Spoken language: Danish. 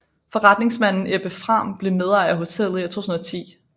Forretningsmanden Ebbe Frahm blev medejer af hotellet i 2010